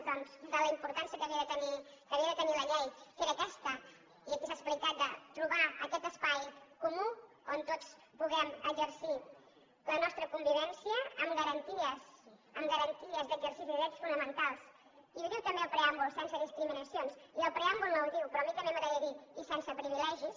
doncs de la importància que havia de tenir la llei que era aquesta i aquí s’ha explicat de trobar aquest espai comú on tots puguem exercir la nostra convivència amb garanties amb garanties d’exercici de drets fonamentals i ho diu també el preàmbul sense discriminacions i el preàmbul no ho diu però a mi també m’agradaria dirho i sense privilegis